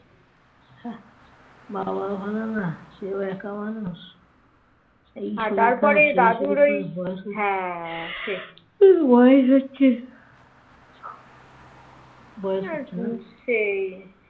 বাবা ভালো না সেই একা মানুষ ওই বয়স হচ্ছে । হ্যাঁ বয়স হচ্ছে বয়স হচ্ছে